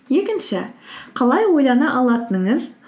екінші қалай ойлана алатыныңыз